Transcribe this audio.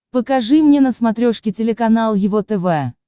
покажи мне на смотрешке телеканал его тв